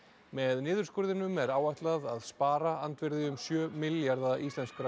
með niðurskurðinum er áætlað að spara andvirði um sjö milljarða íslenskra